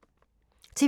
TV 2